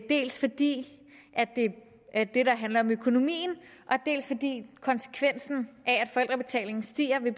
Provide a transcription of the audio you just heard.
dels fordi det handler om økonomien dels fordi konsekvensen af at forældrebetalingen stiger vil